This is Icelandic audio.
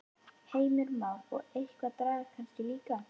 Heimir Már: Og eitthvað drag kannski líka?